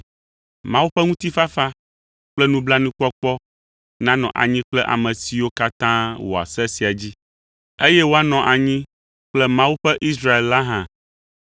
Mawu ƒe ŋutifafa kple nublanuikpɔkpɔ nanɔ anyi kple ame siwo katã wɔa se sia dzi, eye woanɔ anyi kple Mawu ƒe Israel la hã.